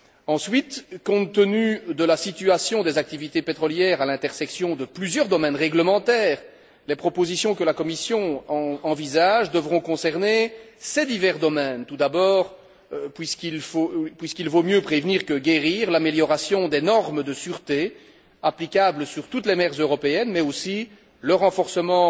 Ensuite, compte tenu de la situation des activités pétrolières, au carrefour de plusieurs domaines réglementaires, les propositions que la Commission envisage devront concerner ces divers domaines tout d'abord puisqu'il vaut mieux prévenir que guérir l'amélioration des normes de sûreté applicables sur toutes les mers européennes, mais aussi le renforcement